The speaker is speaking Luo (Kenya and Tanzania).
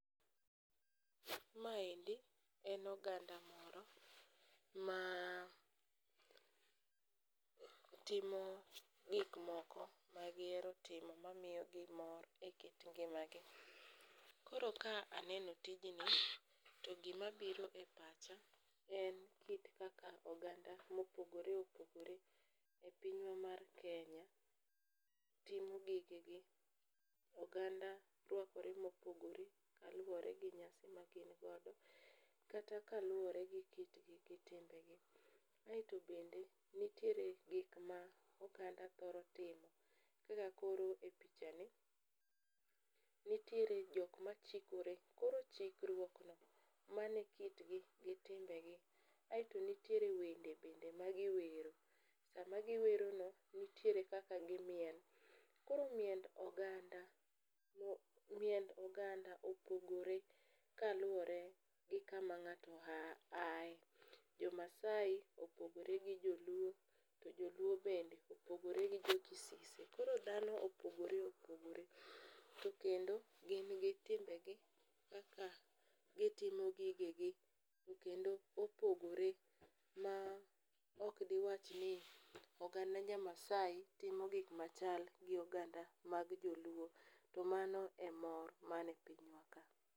Maendi en oganda moro ma timo gikmoko magiero timo mamiyogi mor e kit ngimagi. Koro ka aneno tijni to gimabiro e pacha en kit kaka oganda mopogore opogore e pinywa mar Kenya timo gigegi. Oganda rwakore mopogore kaluwore gi nyasi magingodo kata kal; uwore gi kitgi gi timbegi aeto bende nitiere gikma oganda thoro timo kaka koro e pichani nitiere jokma chikore koro chikruokno mano e kitgi gi timbegi aeto nitiere wende bende magiwero sama giwerono nitiere kaka gimiel, koro miend oganda opogore kaluwore gi kama ng'ato ae, jomaasai opogore gi joluo to joluo bende opogore gi jokisise. Koro dhano opogore opogore to kendo gin gio timbegi kaka gitimo gigegi to kendo opogore ma okdiwach ni oganda jamaasi timo gikmachal gi oganda mag joluo, to mano e mor man e pinywa ka.